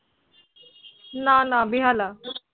না না, বেহালা।